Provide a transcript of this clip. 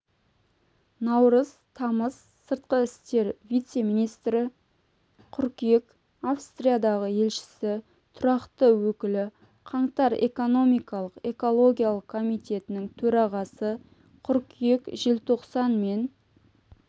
наурыз тамыз сыртқы істер вице-министрі қыркүйек австриядағы елшісі тұрақты өкілі қаңтар экономикалық-экологиялық комитетінің төрағасы қыркүйек-желтоқсан мен